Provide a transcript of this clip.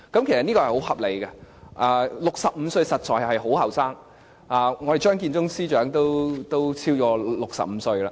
其實這是很合理的 ，65 歲實在是很年輕，我們的張建宗司長也都超過65歲了。